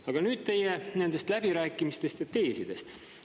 Aga nüüd teie nendest läbirääkimistest ja teesidest.